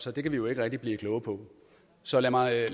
så det kan vi jo ikke rigtig blive kloge på så lad mig